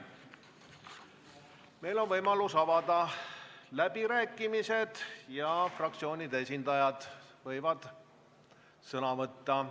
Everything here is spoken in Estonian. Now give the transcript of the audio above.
Meil on võimalus avada läbirääkimised ja fraktsioonide esindajad võivad sõna võtta.